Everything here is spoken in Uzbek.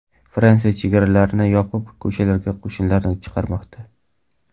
Fransiya chegaralarni yopib, ko‘chalarga qo‘shinlarni chiqarmoqda.